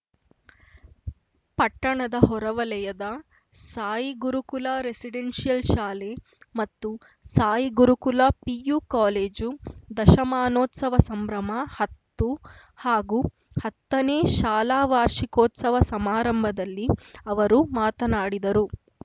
ಪಟ್ಟಣದ ಹೊರವಲಯದ ಸಾಯಿಗುರುಕುಲ ರೆಸಿಡೆನ್ಸಿಯಲ್‌ ಶಾಲೆ ಮತ್ತು ಸಾಯಿ ಗುರುಕುಲ ಪಿಯು ಕಾಲೇಜು ದಶಮಾನೋತ್ಸವ ಸಂಭ್ರಮಹತ್ತು ಹಾಗೂ ಹತ್ತನೇ ಶಾಲಾ ವಾರ್ಷಿಕೋತ್ಸವ ಸಮಾರಂಭದಲ್ಲಿ ಅವರು ಮಾತನಾಡಿದರು